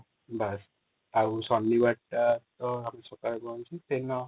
ବସ ଆଉ ଶନିବାର ଟା ତ ସକାଳେ ଆମେ ସେ ଦିନ